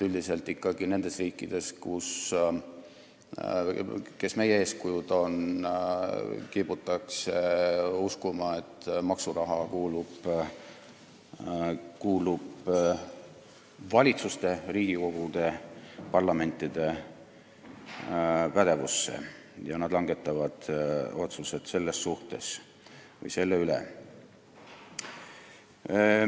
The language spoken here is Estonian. Üldiselt kiputakse ikkagi nendes riikides, kes meie eeskujud on, uskuma, et maksuraha kuulub valitsuste ja parlamentide pädevusse, kes langetavad selle üle otsuseid.